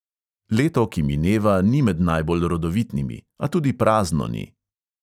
Leto, ki mineva, ni med najbolj rodovitnimi, a tudi prazno ni.